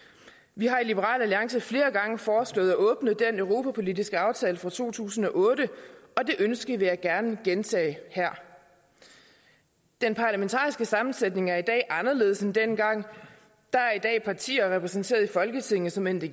vi har i liberal alliance flere gange foreslået at åbne den europapolitiske aftale fra to tusind og otte og det ønske vil jeg gerne gentage her den parlamentariske sammensætning er i dag anderledes end dengang der er i dag partier repræsenteret i folketinget som end